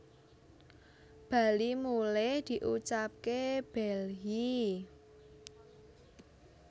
bali mulih diucapke bhelhi